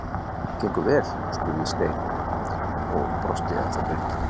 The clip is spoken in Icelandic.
Gengur vel? spurði Stein og brosti ennþá breitt.